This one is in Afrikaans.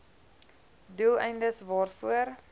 doel eindes waarvoor